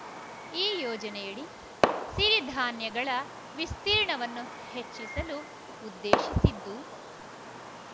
ಈ ಯೋಜನೆಯಡಿ ಸಿರಿ ಧಾನ್ಯಗಳ ವಿಸ್ತೀರ್ಣವನ್ನು ಹೆಚ್ಚಿಸಲು ಉದ್ದೇಶಿಸಿದ್ದು